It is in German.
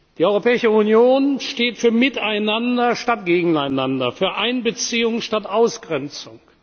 Die Europäische Union steht für miteinander statt gegeneinander, für Einbeziehung statt Ausgrenzung.